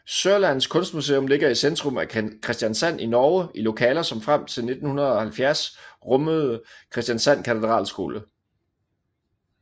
Sørlandets Kunstmuseum ligger i centrum af Kristiansand i Norge i lokaler som frem til 1970 rummet Kristiansand Katedralskole